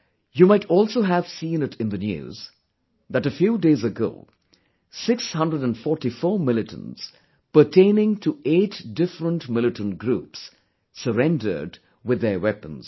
You might also have seen it in the news, that a few days ago, 644 militants pertaining to 8 different militant groups, surrendered with their weapons